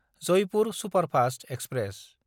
Jaipur superfast express